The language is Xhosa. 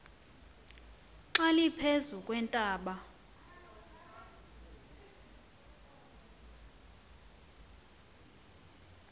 xa liphezu kweentaba